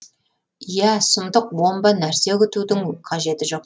иә сұмдық бомба нәрсе күтудің қажеті жоқ